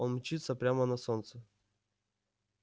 он мчится прямо на солнце